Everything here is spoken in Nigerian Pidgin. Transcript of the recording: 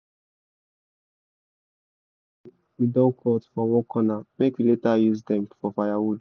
we don cut for one corner make we later use dem for firewood